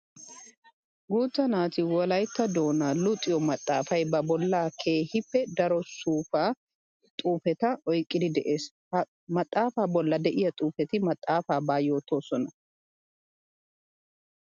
Guuta naati wolaytta doona luxiyo maxafay ba bolla keehippe daro suufa xuufetta oyqqiddi de'ees. Ha maxafa bolla de'iya xuufetti maxafabba yootosona.